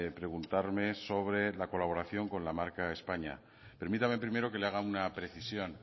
preguntarme sobre la colaboración con la marca españa permítame primero que le haga una precisión